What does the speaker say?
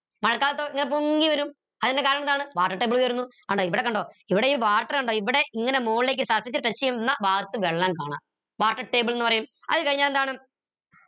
മഴക്കാലത്ത് ഇങ്ങനെ പൊങ്ങിവരും അതിന് കാരണം എന്താണ് water table ഉയരുന്നു കണ്ടോ ഇവിടെ കണ്ടോ ഇവിടെ water കണ്ടോ ഇവിടെ ഇങ്ങനെ മോളിലേക്ക് surface touch എയുന്ന ഭാഗത്തു വെള്ളം കാണാം water table ന്ന് പറയും അത് കഴിഞ്ഞാൽ എന്താണ്